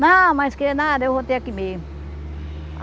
Não, mas que nada eu vou ter aqui mesmo.